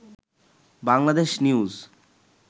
Bangladesh news